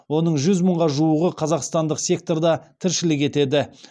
оның жүз мыңға жуығы қазақстандық секторда тіршілік етеді